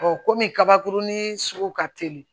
kɔmi kabakurunin sugu ka teli